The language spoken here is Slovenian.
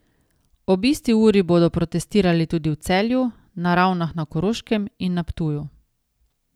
Ob isti uri bodo protestirali tudi v Celju, na Ravnah na Koroškem in na Ptuju.